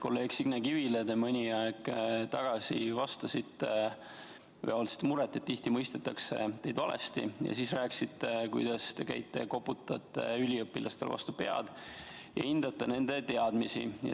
Kolleeg Signe Kivile te mõni aeg tagasi vastasite või avaldasite muret, et tihti mõistetakse teid valesti, ja siis rääkisite, kuidas te käite, koputate üliõpilastele vastu pead ja hindate nende teadmisi.